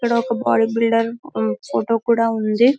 ఇక్కడ ఒక body builder photo కూడా ఉంది --